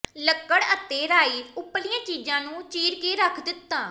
ਲੱਕੜ ਅਤੇ ਰਾਈ ਉਪਰਲੀਆਂ ਚੀਜ਼ਾਂ ਨੂੰ ਚੀਰ ਕੇ ਰੱਖ ਦਿੱਤਾ